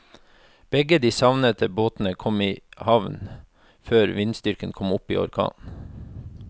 Begge de savnede båtene kom i havn før vindstyrken kom opp i orkan.